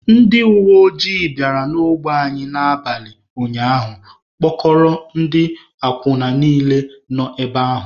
Ndị uweojii bịara n'ogbe anyị n'abalị ụnyaahụ kpụkọrọ ndị akwụna niile nọ ebe ahụ